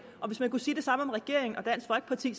og hvis man kunne sige det samme om regeringen og dansk folkeparti